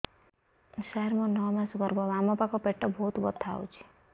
ସାର ମୋର ନଅ ମାସ ଗର୍ଭ ବାମପାଖ ପେଟ ବହୁତ ବଥା ହଉଚି